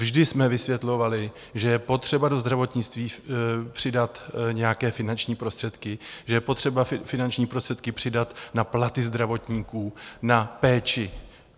Vždy jsme vysvětlovali, že je potřeba do zdravotnictví přidat nějaké finanční prostředky, že je potřeba finanční prostředky přidat na platy zdravotníků, na péči.